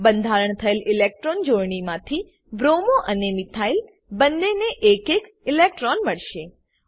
બંધાણ થયેલ ઇલેક્ટ્રોન જોડણીમાંથી બ્રોમો અને મિથાઇલ બંનેને એક એક ઇલેક્ટ્રોન મળશે